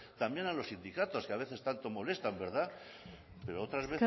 también a los sindicatos que a veces tanto molestan verdad pero otras